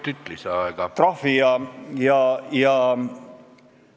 See näitab, et olukord on täiesti katastroofiline, olukord on kontrolli alt väljas ja midagi tuleb ette võtta.